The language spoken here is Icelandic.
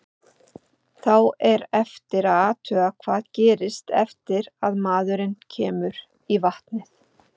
Þá er eftir að athuga hvað gerist eftir að maðurinn kemur í vatnið.